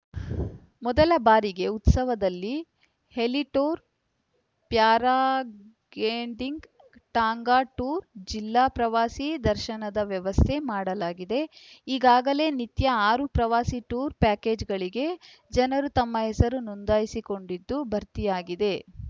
ಮೊದಲ ಬಾರಿಗೆ ಉತ್ಸವದಲ್ಲಿ heli tour paragliding tonga tour ಜಿಲ್ಲಾ ಪ್ರವಾಸಿ ದರ್ಶನದ ವ್ಯವಸ್ಥೆ ಮಾಡಲಾಗಿದೆ ಈಗಾಗಲೇ ನಿತ್ಯ ಆರು ಪ್ರವಾಸಿ ಟೂರ್‌ ಪ್ಯಾಕೇಜ್‌ಗಳಿಗೆ ಜನರು ತಮ್ಮ ಹೆಸರು ನೊಂದಾಯಿಸಿಕೊಂಡಿದ್ದು ಭರ್ತಿಯಾಗಿದೆ